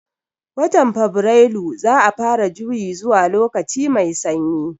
Watan fabirailu za'a fara juyi zuwa lokaci mai sanyi